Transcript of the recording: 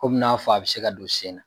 Kɔmi n'a fɔ a bɛ se ka don sen na.